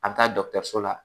A bɛ taa dɔkɔtɔrɔso la